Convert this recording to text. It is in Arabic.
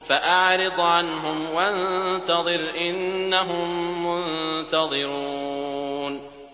فَأَعْرِضْ عَنْهُمْ وَانتَظِرْ إِنَّهُم مُّنتَظِرُونَ